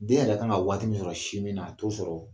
Den yɛrɛ kan ka waati min sɔrɔ sinmin na a t'o sɔrɔ